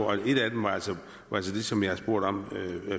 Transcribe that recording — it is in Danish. og et af dem er altså det som jeg spurgte om